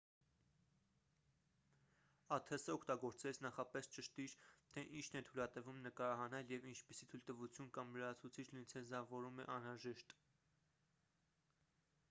աթս օգտագործելիս նախապես ճշտիր թե ինչն է թույլատրվում նկարահանել և ինչպիսի թույլտվություն կամ լրացուցիչ լիցենզավորում է անհրաժեշտ